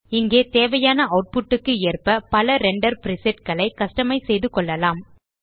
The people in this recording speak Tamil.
இங்கே தேவையான ஆட்புட் க்கு ஏற்ப பல ரெண்டர் பிரிசெட் களை கஸ்டமைஸ் செய்து கொள்ளலாம்